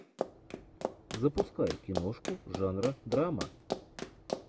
запускай киношку жанра драма